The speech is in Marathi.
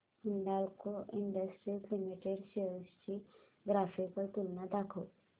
हिंदाल्को इंडस्ट्रीज लिमिटेड शेअर्स ची ग्राफिकल तुलना दाखव